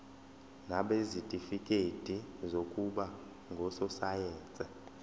nabanezitifikedi zokuba ngososayense